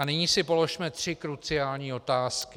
A nyní si položme tři kruciální otázky.